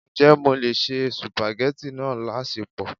Ǹjẹ́ mo lè se supageti náà láṣẹpò?